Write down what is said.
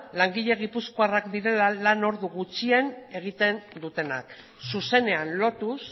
langile gipuzkoarrak lan ordu gutxien egiten dutenak zuzenean lotuz